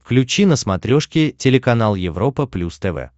включи на смотрешке телеканал европа плюс тв